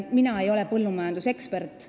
Mina ei ole põllumajandusekspert.